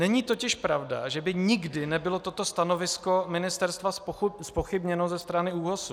Není totiž pravda, že by nikdy nebylo toto stanovisko ministerstva zpochybněno ze strany ÚOHS.